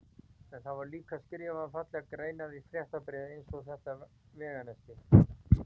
En það voru líka skrifaðar fallegar greinar í fréttabréfið eins og þetta veganesti